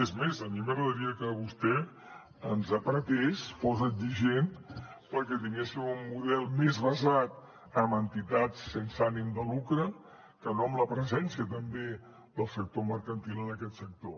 és més a mi m’agradaria que vostè ens apretés fos exigent perquè tinguéssim un model més basat en entitats sense ànim de lucre que no en la presència també del sector mercantil en aquest sector